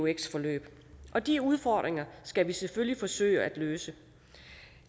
eux forløb og de udfordringer skal vi selvfølgelig forsøge at løse